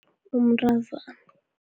Umntazana.